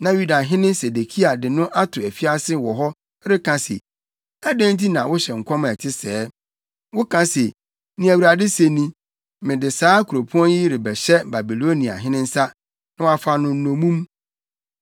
Na Yudahene Sedekia de no ato afiase wɔ hɔ reka se, “Adɛn nti na wohyɛ nkɔm a ɛte sɛɛ? Woka se, ‘Nea Awurade se ni: Mede saa kuropɔn yi rebɛhyɛ Babiloniahene nsa, na wafa no nnommum.